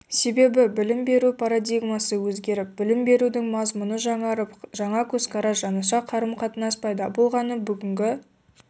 себебі білім беру парадигмасы өзгеріп білім берудің мазмұны жаңарып жаңа көзқарас жаңаша қарым-қатынас пайда болған бүгінгі